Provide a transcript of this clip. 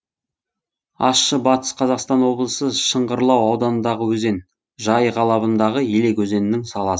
ащы батыс қазақстан облысы шыңғырлау ауданындағы өзен жайық алабындағы елек өзенінің саласы